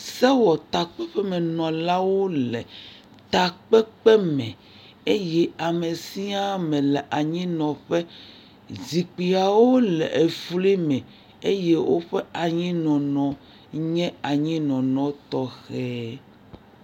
Sewɔtakpeƒemenɔlawo le takpekpe me eye ame sia ame le anyinɔƒe, zikpuiawo le efli me eye woƒe anyinɔnɔ nye anyi nɔnɔ nye anyinɔnɔ tɔxɛ.